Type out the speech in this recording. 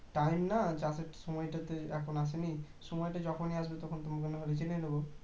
time না চাষের সময়টা তো এখনো আসেনি সময় যখনই আসবে তখন তোমার থেকে জেনে নেবো